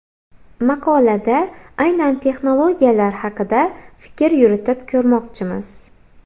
Maqolada aynan texnologiyalar haqida fikr yuritib ko‘rmoqchimiz.